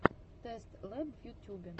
тэст лэб в ютюбе